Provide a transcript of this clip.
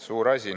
Suur asi!